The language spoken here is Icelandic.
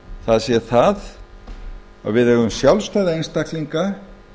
það sé það að við eigum sjálfstæða einstaklinga